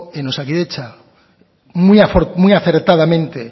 en osakidetza muy acertadamente